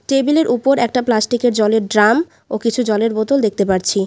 টেবিলের ওপর একটা প্লাস্টিকের জলের ড্রাম ও কিছু জলের বোতল দেখতে পারছি।